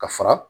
Ka fara